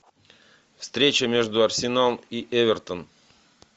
встреча между арсенал и эвертон